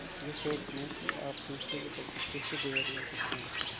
यह सोचना कि आप दूसरों के प्रति कैसे दयालु हो सकते हैं